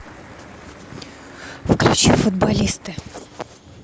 включи футболисты